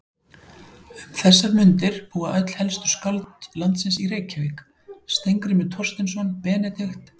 Um þessar mundir búa öll helstu skáld landsins í Reykjavík: Steingrímur Thorsteinsson, Benedikt